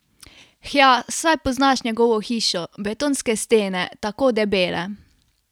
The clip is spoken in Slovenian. Hja, saj poznaš njegovo hišo, betonske stene, tako debele!